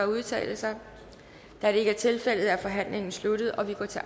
udtale sig da det ikke er tilfældet er forhandlingen sluttet og vi går til